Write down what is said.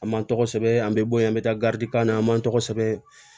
An m'an tɔgɔ sɛbɛn an bɛ bɔ yen an bɛ taa garidi kan na an man tɔgɔ sɛbɛn